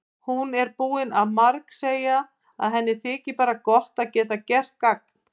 Hún er búin að margsegja að henni þyki bara gott að geta gert gagn.